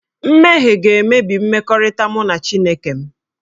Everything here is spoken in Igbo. Mmehie ga-emebi mmekọrịta mụ na Chineke m